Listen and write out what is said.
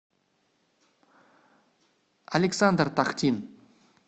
александр тахтин